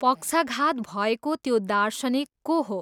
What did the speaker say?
पक्षाघात भएको त्यो दार्शनिक को हो?